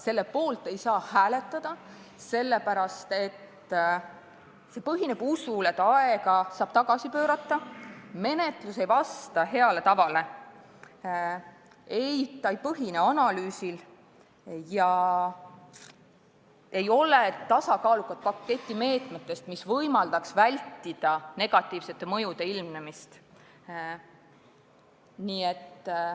Selle poolt ei saa hääletada, sest see põhineb usul, et aega saab tagasi pöörata, menetlus ei vasta heale tavale, eelnõu ei põhine analüüsil ega ole tasakaalustavat paketti meetmetest, mis võimaldaks vältida negatiivsete mõjude ilmnemist.